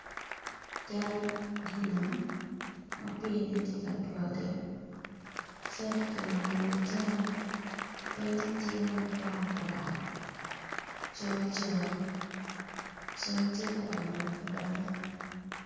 Cal ti i nam, ma piine tye ka twage calle ki mako i wi otyeno pinye tye makwar col col ceng tye ka donyo adonya.